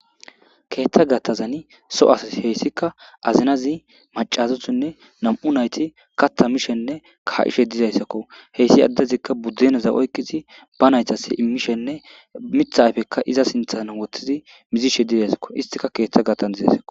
Keeththa gattazani soas heyssika azinazi macazothinne nam'u nayti katta mishenne ka'ishe dizayssakko heyssi addezikka buddenaza oykqizi banaytas immishenne mitha ayfekka iza sinthan woththizi mizishe dizaysakko istika keeththa gattan dizaysako.